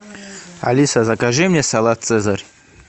алиса закажи мне салат цезарь